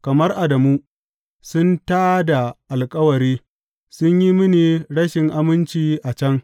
Kamar Adamu, sun tā da alkawari, sun yi mini rashin aminci a can.